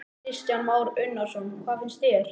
Kristján Már Unnarsson: Hvað finnst þér?